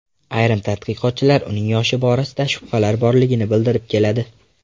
Ayrim tadqiqotchilar uning yoshi borasida shubhalar borligini bildirib keladi.